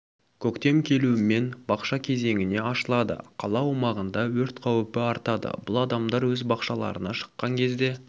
көктем келуімен бақша кезеңіне ашылады қала аумағында өрт қауіпі артады бұл адамдар өз бақшаларына шыққан кезде